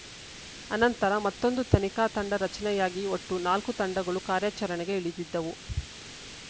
ಅನಂತರ ಮತ್ತೊಂದು ತನಿಖಾ ತಂಡ ರಚನೆ ಯಾಗಿ ಒಟ್ಟು ನಾಲ್ಕು ತಂಡಗಳು ಕಾರ್ಯಾಚರಣೆಗೆ ಇಳಿದಿದ್ದವು